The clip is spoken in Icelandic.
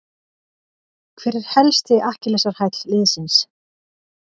Hver er helsti akkilesarhæll liðsins?